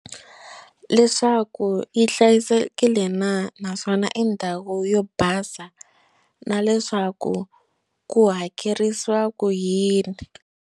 Leswaku yi hlayisekile na naswona i ndhawu yo basa na leswaku ku hakerisiwa ku yini.